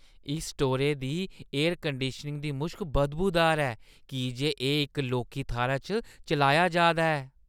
इस स्टोरै दी एयर कंडीशनिंग दी मुश्क बदबूदार ऐ की जे एह् इक लौह्की थाह्‌रै च चलाया जा दा ऐ।